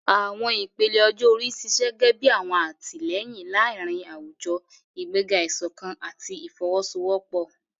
Àwọn ìpele ọjọ́ orí ń ṣiṣẹ́ gẹ́gẹ́ bí ọ̀wọ̀n àtìlẹ́yìn láàárín àwùjọ, ìgbéga ìṣọ̀kan àti ìfọwọ́sowọ́pọ̀.